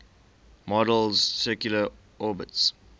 model's circular orbits